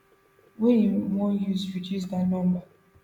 wey im wan use reduce dat number